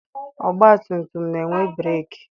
Ọgbatumtum na-enwe breeki.